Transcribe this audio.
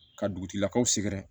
Ka dugutigilakaw sɛgɛrɛ